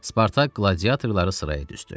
Spartak qladiatorları sıraya düzdü.